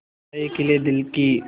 आशाएं खिले दिल की